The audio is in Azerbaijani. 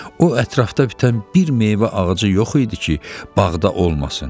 O ətrafda bitən bir meyvə ağacı yox idi ki, bağda olmasın.